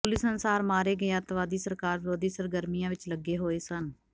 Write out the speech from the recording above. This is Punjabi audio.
ਪੁਲਿਸ ਅਨੁਸਾਰ ਮਾਰੇ ਗਏ ਅੱਤਵਾਦੀ ਸਰਕਾਰ ਵਿਰੋਧੀ ਸਰਗਰਮੀਆਂ ਵਿਚ ਲੱਗੇ ਹੋਏ ਸਨ